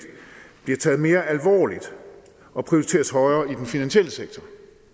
bliver taget mere alvorligt og prioriteres højere i den finansielle sektor